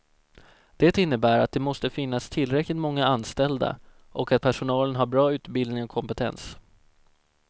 Det innebär att det måste finnas tillräckligt många anställda och att personalen har bra utbildning och kompetens.